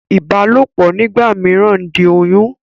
Ìbálòpọ̀ nígbà mìíràn ń di oyún.